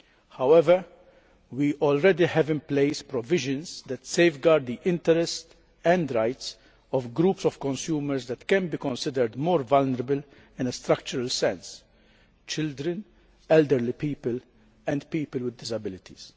However, we already have in place provisions that safeguard the interests and rights of groups of consumers that can be considered more vulnerable in a structural sense children, elderly people and people with disabilities.